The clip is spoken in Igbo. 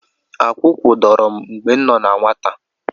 Akwụkwụ dọrọ mgbe m nọ na nwata.